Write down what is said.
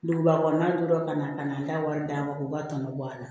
Duguba kɔnɔna ka na an ka wari d'an ma k'u ka tɔnɔ bɔ a la